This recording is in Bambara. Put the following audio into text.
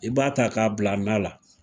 I b'a ta ka bila nan la.